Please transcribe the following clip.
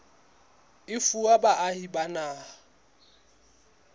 e fuwa baahi ba naha